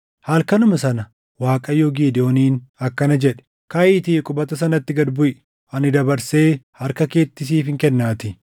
Halkanuma sana Waaqayyo Gidewooniin akkana jedhe; “Kaʼiitii qubata sanatti gad buʼi; ani dabarsee harka keetti siifin kennaatii.